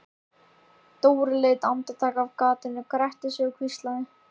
Dóri leit andartak af gatinu, gretti sig og hvíslaði: